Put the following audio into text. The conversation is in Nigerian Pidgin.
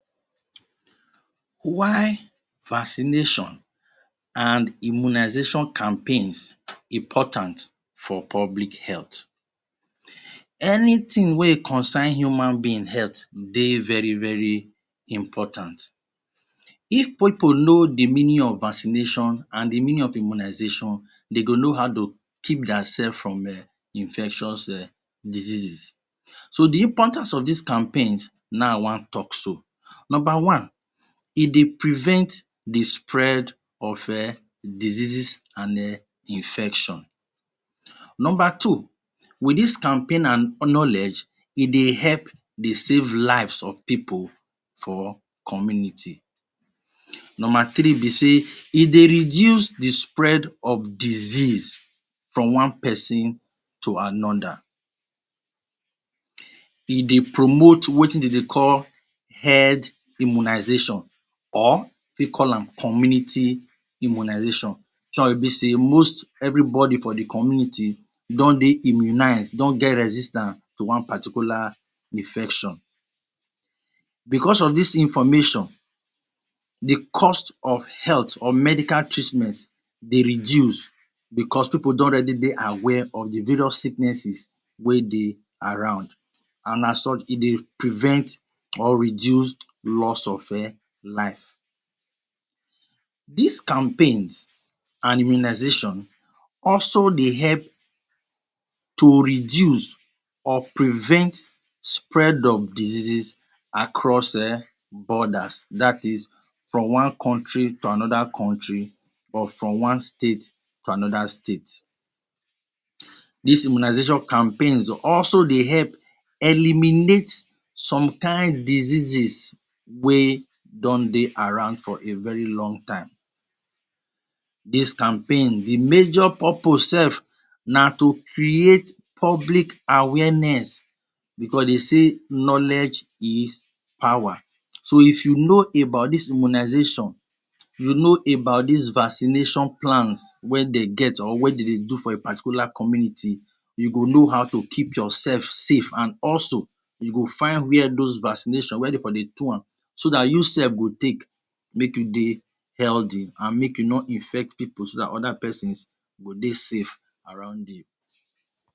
Why vaccination and immunization campaign dey important for public health? Anything wey concern human being heath dey very-very important, if pipul know the meaning of vaccination and the meaning immunization dey go know how dey go keep their self from infectious diseases. So the important of this campaign na in a want talk so. Number one: e dey prevent the spread of diseases and infection Number two: with this campaign and knowledge e dey help dey safe life of pipul for community Number three be say e dey reduce the spread of disease from one person to another, e dey promote wetin them dey call health immunization or take call am community immunization, the one wey be sey most everybody for the community don dey immunize don dey resistance to one particular infection, because of this information, the cost of health treatment dey reduce because people don dey aware of the various sicknesses wey dey around and so e dey prevent or reduce lost of life. This campaign and immunization dey help to reduce or prevent spread of diseases across border that is, from one country to another country or from one state to another state. This immunization campaign dey also dey help eliminate some kind diseases wey don dey around for a very long time. This campaign the major purpose self na to create public awareness because dey sey knowledge is power so if you know about this immunization, you know about this vaccination plans wey dey get or wey dem dey do for a particular community you go know how to keep yourself safe and also you go find those vaccination where dey for dey take do am so make you dey healthy make you no infect people so dat other person go dey safe arund you.